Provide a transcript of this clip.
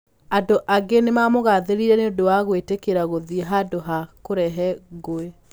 Andũ angĩ nĩ maamũgaathĩrĩirie nĩ ũndũ wa gwĩtĩkĩra gũthiĩ handũ ha kũrehe ngũĩ.